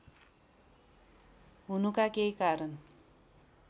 हुनुका केही कारण